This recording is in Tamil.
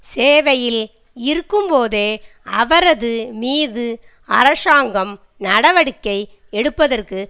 சேவையில் இருக்கும்போதே அவரது மீது அரசாங்கம் நடவடிக்கை எடுப்பதற்கு